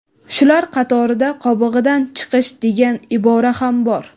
Shular qatorida "qobig‘idan chiqish" degan ibora ham bor.